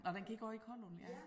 Nåh den gik også i Kollund ja